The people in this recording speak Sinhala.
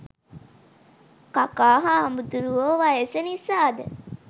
කකා හාමුදුරුවෝ වයස නිසා ද